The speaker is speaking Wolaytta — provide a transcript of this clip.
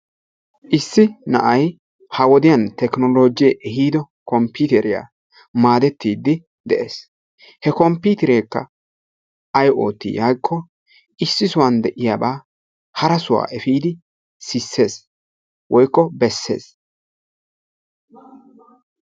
Issi na'ay ha wodiyaan teknolojje ehido komppiteriyaa go'ettide de'ees. he komppiterekka ay ootti giiko issi sohuwan de'iyaaba harassa efiidi sissees woykko beessees.